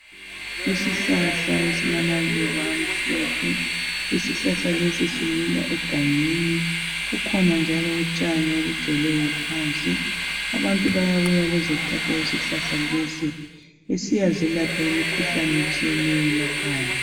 isihlahla esilamaluba amhlophe isihlahla lesi simila egangeni kukhona njalo utshani obugcweleyo phansi abantu bayabuya bezothatha isihlahla lesi besiyazelapha imikhuhlane etshiyeneyo emakhaya